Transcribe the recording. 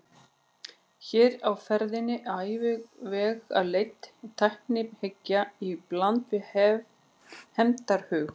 Hér er á ferðinni afvegaleidd tæknihyggja í bland við hefndarhug.